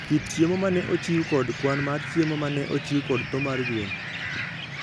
kit chiemo ma ne ochiw kod kwan mar chiemo ma ne ochiw kod tho mar gwen.